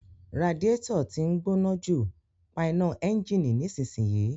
Radiator tí ń gbóná jù, pa iná ẹ́ńjìnì nísinsìnyí